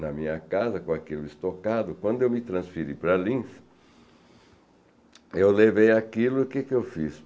na minha casa, com aquilo estocado, quando eu me transferi para Linz, eu levei aquilo e o que que eu fiz?